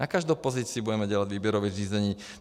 Na každou pozici budeme dělat výběrové řízení.